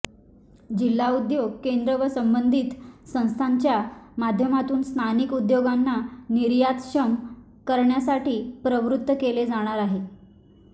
जिल्हा उद्योग केंद्र व संबंधित संस्थांच्या माध्यमातून स्थानिक उद्योगांना निर्यातक्षम करण्यासाठी प्रवृत्त केले जाणार आहे